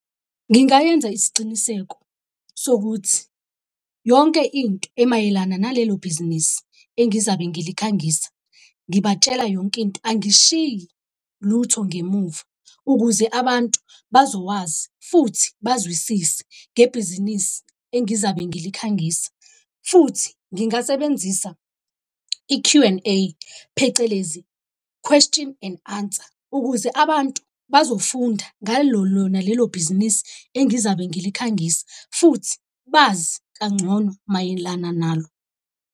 Ngingayenza isiciniseko sokuthi yonke into emayelana nalelo bhizinisi engizabe ngikhangisa, ngibatshela yonke into, angishiyi lutho ngemuva. Ukuze abantu bazowazi futhi bazwisise ngebhizinisi engizabe ngilikhangisa. Futhi ngingasebenzisa i-Q and A phecelezi, question and answer, ukuze abantu bazofunda ngalo lona lelo bhizinisi engizabe ngilikhangisa futhi bazi kangcono mayelana nalo.